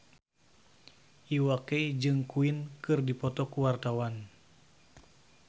Iwa K jeung Queen keur dipoto ku wartawan